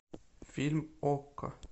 фильм окко